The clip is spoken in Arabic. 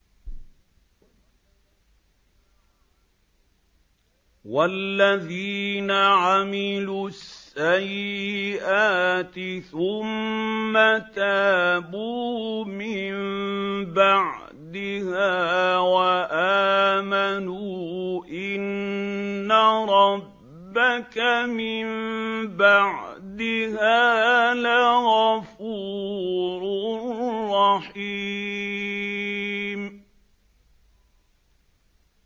وَالَّذِينَ عَمِلُوا السَّيِّئَاتِ ثُمَّ تَابُوا مِن بَعْدِهَا وَآمَنُوا إِنَّ رَبَّكَ مِن بَعْدِهَا لَغَفُورٌ رَّحِيمٌ